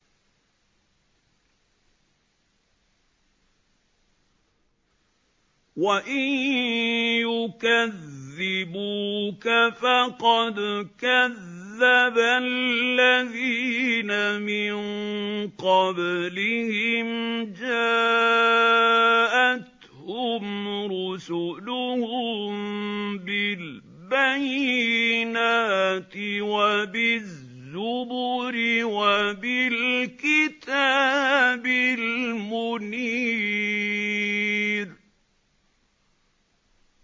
وَإِن يُكَذِّبُوكَ فَقَدْ كَذَّبَ الَّذِينَ مِن قَبْلِهِمْ جَاءَتْهُمْ رُسُلُهُم بِالْبَيِّنَاتِ وَبِالزُّبُرِ وَبِالْكِتَابِ الْمُنِيرِ